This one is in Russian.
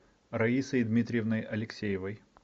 раисой дмитриевной алексеевой